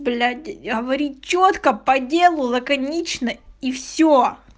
блять говори чётко по делу лаконично и все